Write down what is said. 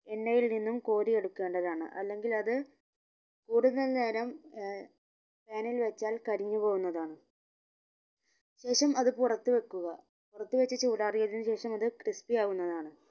എണ്ണയിൽ നിന്നും കോരി എടുക്കേണ്ടതാണ് അല്ലെങ്കിൽ അത് കൂടുതൽ നേരം ഏർ pan ൽ വെച്ചാൽ കരിഞ്ഞു പോകുന്നതാണ് ശേഷം അത് പുറത്തു വെക്കുക പുറത്ത് വെച്ച് ചൂടാറിയതിന് ശേഷം അത് crispy ആവുന്നതാണ്